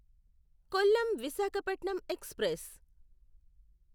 Kollam Visakhapatnam express